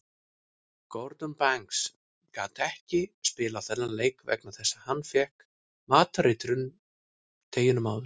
Gordon Banks gat ekki spilað þennan leik vegna þess að hann fékk matareitrun deginum áður.